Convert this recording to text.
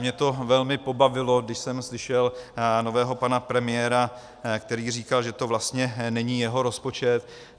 Mě to velmi pobavilo, když jsem slyšel nového pana premiéra, který říkal, že to vlastně není jeho rozpočet.